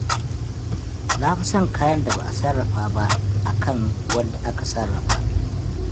Na fi son kayan da ba a sarrafa ba akan wanda aka sarrafa.